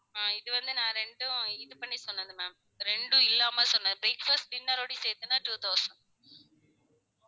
ஆஹ் இது வந்து நா ரெண்டும் இது பண்ணி சொன்னது ma'am ரெண்டும் இல்லாம சொன்னது breakfast, dinner வோடி சேர்த்துனா two thousand